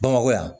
Bamakɔ yan